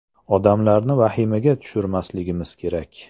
“Odamlarni vahimaga tushirmasligimiz kerak.